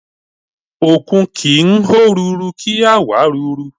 Òkun kì ń hó ruru, kí á wàá ruru.